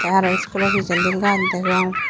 tey aro school o pijendi gaaj degong.